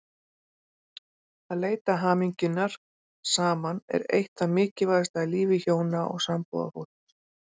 Að leita hamingjunnar saman er eitt það mikilvægasta í lífi hjóna og sambúðarfólks.